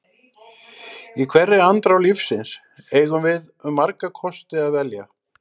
Í hverri andrá lífsins eigum við um marga kosti að velja.